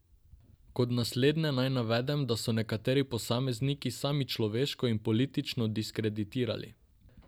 Kot naslednje naj navedem, da so se nekateri posamezniki sami človeško in politično diskreditirali.